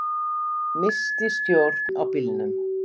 Missti stjórn á bílnum